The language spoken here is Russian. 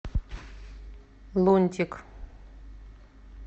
лунтик